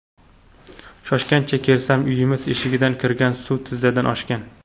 Shoshgancha kelsam, uyimiz eshigidan kirgan suv tizzadan oshgan.